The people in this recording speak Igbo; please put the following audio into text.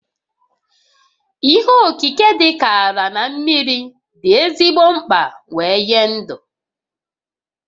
Ihe okike dịka ala na mmiri dị ezigbo mkpa wee nye dụ